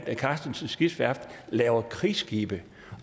når karstensens skibsværft laver krigsskibe